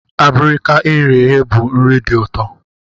Abirika e ghere eghe bụ nri dị ụtọ.